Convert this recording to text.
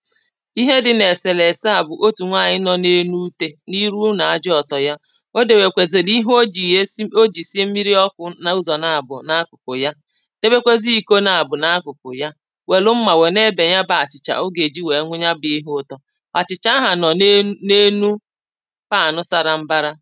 ihe dị n’èsèlèse à bụ̀ otù nwanyị̀ nọ̀ n’enu ùte n’iru na-aja ọtọ̀ ya, o dèwèkwèzèlì ihe o jì yá esi o jì sié mmiri ọkụ n’ụzọ̀ nà-àbụ n’akụ̀kụ̀ ya, tebèkweze iko n’àbụ̀ n’akụ̀kụ̀ yá wèlụ mmà wè n’ebè ya bụ achị̀chà o gà-èji wéé nwunye ya bụ̀ ihe ụtọ̀ àchị̀chà ahụ̀ nọ̀ n’enu, n’enu pàno sara mbàrà